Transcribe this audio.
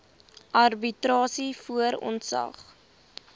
arbitrasie voor ontslag